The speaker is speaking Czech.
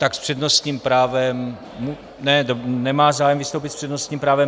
Tak s přednostním právem - Ne, nemá zájem vystoupit s přednostním právem.